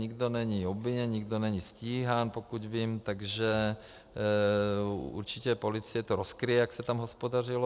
Nikdo není obviněn, nikdo není stíhán, pokud vím, takže určitě policie to rozkryje, jak se tam hospodařilo.